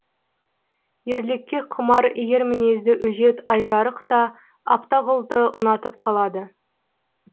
ерлікке құмар ер мінезді өжет айжарық та абтақұлды ұнатып қалады